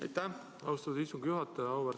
Aitäh, austatud istungi juhataja!